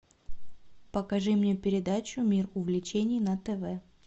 покажи мне передачу мир увлечений на тв